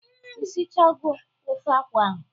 Ishichago ofe akwụ ahụ?